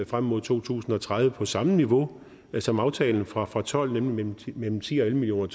frem mod to tusind og tredive på samme niveau som aftalen fra to og tolv nemlig mellem ti og elleve million